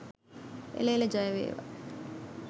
එළ එළ ජය වේවා!